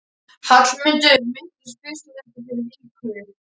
Hallmundur minntist fyrst á þetta fyrir viku.